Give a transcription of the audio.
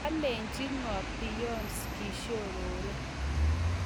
kalechi ngoo Beyonce Kishorore